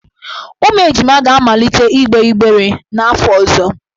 Ụmụ ejima ga-amalite igbe igber n'afọ ọzọ.